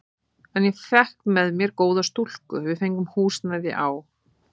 En ég fékk með mér góða stúlku, við fengum húsnæði á